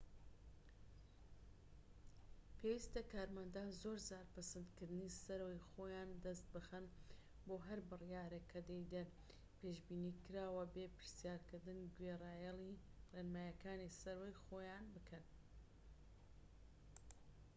پێویستە کارمەندان زۆرجار پەسەندکردنی سەرەوەی خۆیان دەست بخەن بۆ هەر بڕیارێک کە دەیدەن و پێشبینیکراوە بێ پرسیارکردن گوێڕایەلی ڕێنماییەکانی سەرەوەی خۆیان بکەن